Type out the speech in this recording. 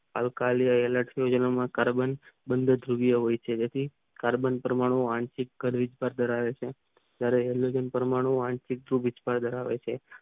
આલકાયી વનસ્પતિ જીવનમાં કાર્બન મંદ દિવ્ય હોય છે કાર્બન પરમાણુ આંતરિક કાળ વિસ્તાર ધરાવે છે ત્યરે ઓમેનિક પરમાણુ આંટીક ભિક્ષા ધરાવે છે